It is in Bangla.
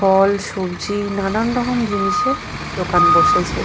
ফল সবজি নানান রকম জিনিসের দোকান বসেছে।